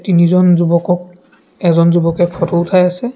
তিনিজন যুৱকক এজন যুৱকে ফটো উঠাই আছে।